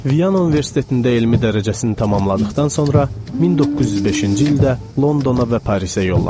Viana Universitetində elmi dərəcəsini tamamladıqdan sonra 1905-ci ildə Londona və Parisə yollanıb.